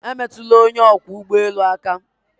Emetụla onye ọkwọ ụgbọ elu aka!